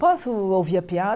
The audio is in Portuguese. Posso ouvir a